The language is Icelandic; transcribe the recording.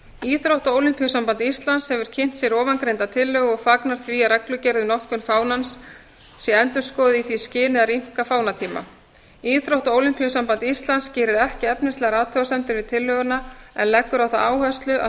íþrótta og ólympíusamband ísland hefur kynnt sér ofangreinda tillögu og fagnar því að reglugerð við notkun fánans sé endurskoðuð í því skyni að rýmka fánatíma íþrótta og ólympíusamband íslands gerir ekki efnislegar athugasemdir við tillöguna en leggur á það áherslu að